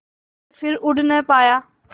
के फिर उड़ ना पाया